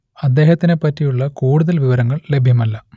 അദ്ദേഹത്തിനെ പറ്റിയുള്ള കൂടുതൽ വിവരങ്ങൾ ലഭ്യമല്ല